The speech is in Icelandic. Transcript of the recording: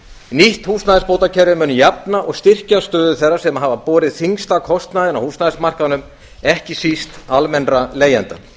nýtt húsnæðisbótakerfi mun jafna og styrkja stöðu þeirra sem hafa borið þyngsta kostnaðinn á húsnæðismarkaðnum ekki síst almennra leigjenda